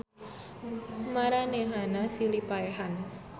Maranehanana silih paehan.